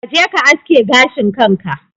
Kaje ka aske gashin kanka